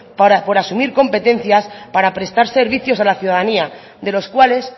por asumir competencias para presta servicios a la ciudadanía de los cuales